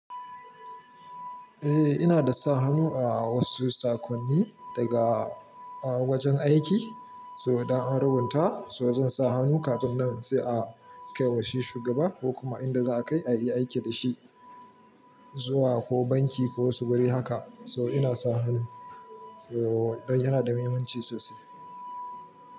Eh, ina da sa hannu a wasu sakonni daga wajen aiki. So, idan an rubuta so zan sa hannu kafin nan sai a kai wa shi shugaba ko kuma inda za a kai a yi aiki da shi, zuwa ko banki ko wasu wurare haka. So ina sa hannu. So, don yana da muhimmanci sosai.